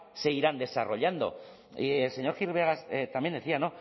se irán desarrollando y el señor gil vegas también decía